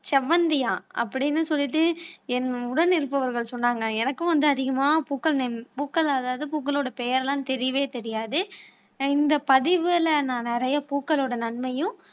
செவ்வந்தியா அப்படின்னு சொல்லிட்டு என் உடன் இருப்பவர்கள் சொன்னாங்க எனக்கும் வந்து அதிகமா பூக்கள் நேம் பூக்கள் அதாவது பூக்களோட பெயர் எல்லாம் தெரியவே தெரியாது இந்த பதிவுல நான் நிறைய பூக்களோட நன்மையும்